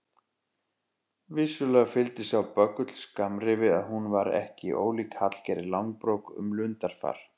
Vissulega fylgdi sá böggull skammrifi að hún var ekki ólík Hallgerði Langbrók um lundarfar.